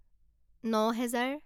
নহেজাৰ